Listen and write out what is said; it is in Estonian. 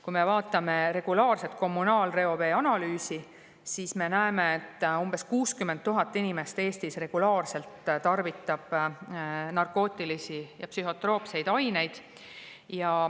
Kui me vaatame regulaarse kommunaalreovee analüüsi, siis me näeme, et umbes 60 000 inimest Eestis tarvitab regulaarselt narkootilisi ja psühhotroopseid aineid.